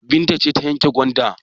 Binta ce ta yanka gwanda?